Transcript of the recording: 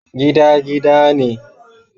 Gida gida ne